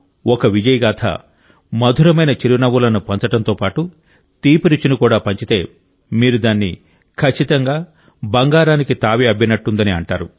ఒక విజయగాథ మధురమైన చిరునవ్వులను పంచడంతో పాటు తీపి రుచిని కూడా పంచితే మీరు దాన్ని ఖచ్చితంగా బంగారానికి తావి అబ్బినట్టుందని అంటారు